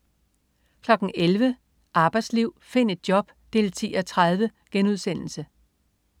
11.00 Arbejdsliv. Find et job! 10:30*